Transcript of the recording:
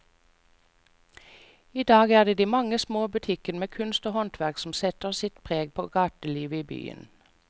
I dag er det de mange små butikkene med kunst og håndverk som setter sitt preg på gatelivet i byen.